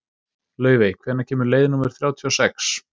Laufey, hvenær kemur leið númer þrjátíu og sex?